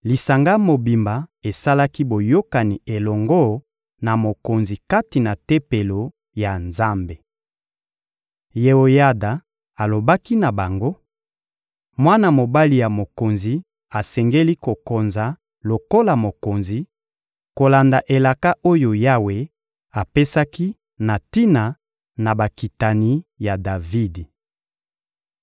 lisanga mobimba esalaki boyokani elongo na mokonzi kati na Tempelo ya Nzambe. Yeoyada alobaki na bango: «Mwana mobali ya mokonzi asengeli kokonza lokola mokonzi, kolanda elaka oyo Yawe apesaki na tina na bakitani ya Davidi.